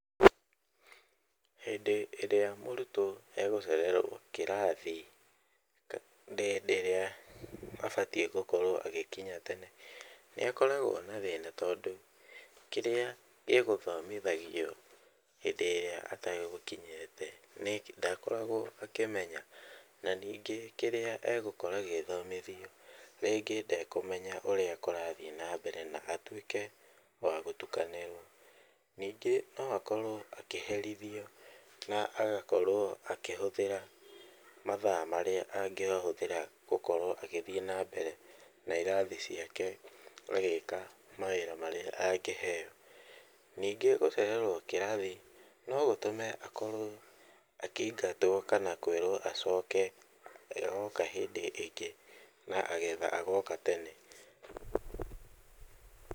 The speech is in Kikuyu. Hĩndĩ ĩrĩa mũrutwo egũcererwo kĩrathi hĩndĩ ĩrĩa abatiĩ gũkorwo agĩkinya tene nĩakoragwo na thĩna tondũ, kĩrĩa gĩgũthomithagio hĩndĩ ĩrĩa ategũkinyĩte nĩ ndakoragwo akĩmenya, na ningĩ kĩrĩa egũkora gĩgĩthomithio rĩngĩ ndekũmenya ũrĩa kũrathiĩ na mbere na atuĩke wa gũtukanĩrwo. Ningĩ no akorwo akĩherithio na agakorwo akĩhũthĩra mathaa marĩa angĩahũthĩra gũkorwo agĩthiĩ na mbere na irathi ciake agĩka mawĩra marĩa angĩheo. Ningĩ gũcererwo kĩrathi no gũtũme akorwo akĩingatwo kana kwĩrwo acoke agoka hĩndĩ ĩngĩ na getha agoka tene.